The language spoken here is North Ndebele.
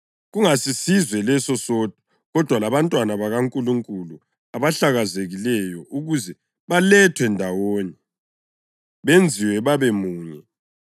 kungasisizwe leso sodwa, kodwa labantwana bakaNkulunkulu abahlakazekileyo ukuze balethwe ndawonye, benziwe babemunye.